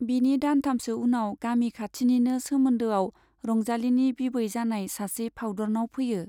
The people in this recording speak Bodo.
बिनि दानथामसो उनाव गामि खाथिनिनो सोमोन्दोआव रंजालीनि बिबै जानाय सासे फाउदुरनाव फैयो।